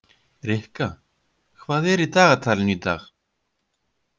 Rikka, hvað er í dagatalinu í dag?